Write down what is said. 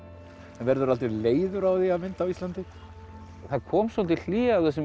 verðurðu aldrei leiður á því að mynda á Íslandi það kom svolítið hlé á þessum